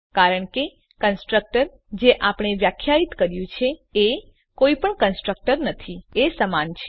કારણકે કન્સ્ટ્રક્ટર જે આપણે વ્યાખ્યાયિત કર્યું છે એ કોઈપણ કન્સ્ટ્રક્ટર નથી એ સમાન છે